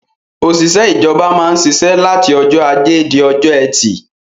Òṣìṣẹ́ ìjọba máa ń ṣiṣẹ́ láti ọjọ́ ajé di ọjọ́ ẹtì.